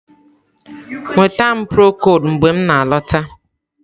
Nweta m prokol mgbe m na-alọta.